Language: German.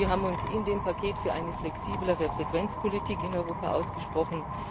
Wir haben uns in dem Paket für eine flexiblere Frequenzpolitik in Europa ausgesprochen.